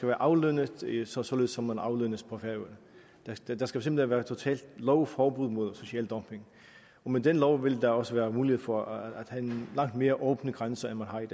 være aflønnet således som som man aflønnes på færøerne der skal simpelt hen være totalt lovforbud mod social dumping med den lov vil der også være mulighed for at have langt mere åbne grænser end man har i